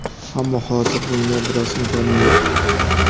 Ammo hozir bunga biroz imkonim yo‘q.